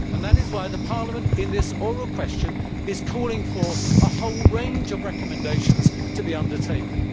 That is why Parliament, in this oral question, is calling for a whole range of recommendations to be undertaken.